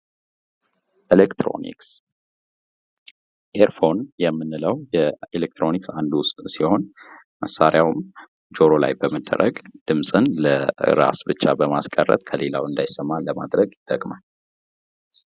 ኤሌክትሮኒክስ ኤርፎን የምንለው ኤሌክትሮኒክስ አንዱ እሱ ሲሆን መሳርያውም ጆሮ ላይ በመደረግ ድምጽን ለራስ ብቻ በማስቀረት ከሌለው እንዳይሰማ ለማድረግ ይጠቅማል።